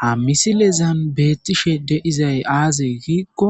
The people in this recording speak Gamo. Ha misileza beetishe dizay aaze giza gidikko